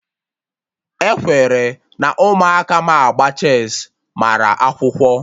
E kwere na Ụmụaka ma agba chess mara akwụkwọ